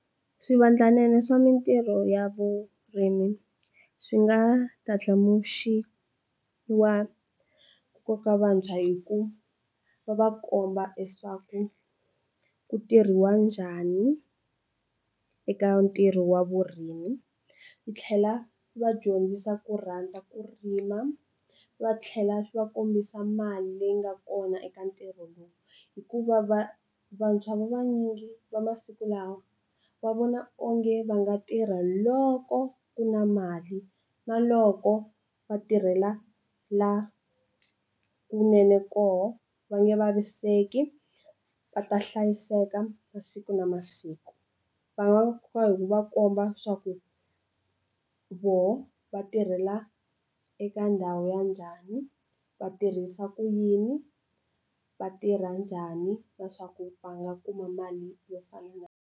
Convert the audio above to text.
Swivandlanene swa mitirho ya vurimi swi nga ndlandlamuxiwa koka vantshwa hi ku va va komba leswaku ku tirhiwa njhani eka ntirho wa vurimi ku tlhela vadyondzisa ku rhandza ku rima va tlhela va kombisa mali leyi nga kona eka ntirho lowu hikuva va vantshwa vanyingi va masiku lawa va vona onge va nga tirha loko ku na mali na loko va tirhela la kunene koho va nge vaviseki va ta hlayiseka masiku na masiku va komba swa ku voho va tirhela eka ndhawu ya njhani va tirhisa ku yini va tirha njhani leswaku va nga kuma mali yo fana na.